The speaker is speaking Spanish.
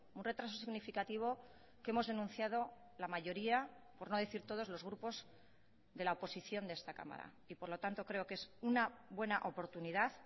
un retraso significativo que hemos denunciado la mayoría por no decir todos los grupos de la oposición de esta cámara y por lo tanto creo que es una buena oportunidad